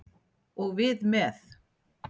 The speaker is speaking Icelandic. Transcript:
Og við með.